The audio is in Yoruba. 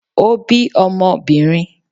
o bí Ọmọbinrín